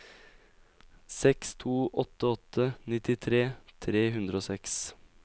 seks to åtte åtte nittitre tre hundre og seks